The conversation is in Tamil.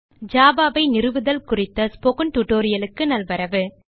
ஜாவா ஐ நிறுவுதல் குறித்த ஸ்போக்கன் டியூட்டோரியல் க்கு நல்வரவு